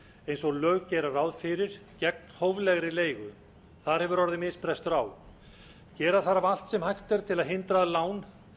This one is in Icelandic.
eins og lög gera ráð fyrir gegn hóflegri leigu þar hefur orðið misbrestur á gera þarf allt sem hægt er til að hindra að lán